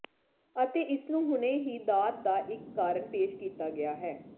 ਅਤੇ ਇਸ ਨੂੰ ਹੁਣੇ ਹੀ ਦਾਤ ਦਾ ਇਕ ਕਾਰਨ ਪੇਸ਼ ਕੀਤਾ ਗਿਆ ਹੈ